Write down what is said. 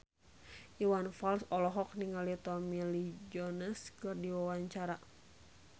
Iwan Fals olohok ningali Tommy Lee Jones keur diwawancara